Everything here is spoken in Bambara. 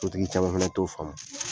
Sotigi caman fana t'o faamu.